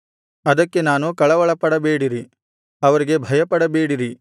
ಅದಕ್ಕೆ ನಾನು ಕಳವಳಪಡಬೇಡಿರಿ ಅವರಿಗೆ ಭಯಪಡಬೇಡಿರಿ